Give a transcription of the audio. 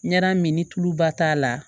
Ɲaramini tulu ba t'a la